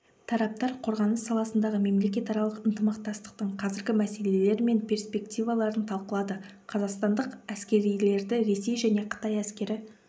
тараптар қорғаныс саласындағы мемлекетаралық ынтымақтастықтың қазіргі мәселелері мен перспективаларын талқылады қазақстандық әскерилерді ресей және қытай әскері